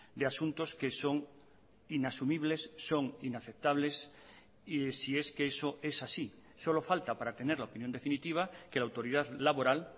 de asuntos que son inasumibles son inaceptables y si es que eso es así solo falta para tener la opinión definitiva que la autoridad laboral